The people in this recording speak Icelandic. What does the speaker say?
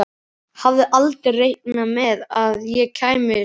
Hafði aldrei reiknað með að ég kæmi suður.